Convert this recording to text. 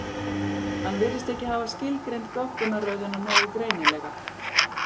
Hann virðist ekki hafa skilgreint goggunarröðina nógu greinilega.